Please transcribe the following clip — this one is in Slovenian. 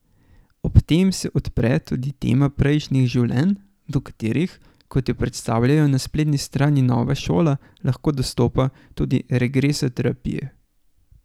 Ob tem se odpre tudi tema prejšnjih življenj, do katerih, kot jo predstavljajo na spletni strani Nova šola, lahko dostopa tudi regresoterapije.